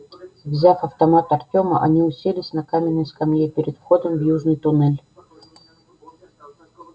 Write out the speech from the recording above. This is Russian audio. взяв автомат артема они уселись на каменной скамье перед входом в южный туннель